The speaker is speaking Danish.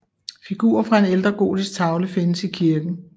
Figurer fra en ældre gotisk tavle findes i kirken